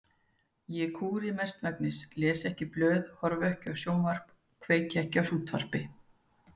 Ég kúri mestmegnis, les ekki blöð, horfi ekki á sjónvarp, kveiki ekki á útvarpi.